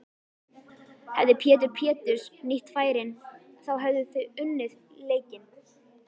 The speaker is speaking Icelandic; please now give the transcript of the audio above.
Hefði Pétur Péturs nýtt færin þá hefðuð þið unnið leikinn?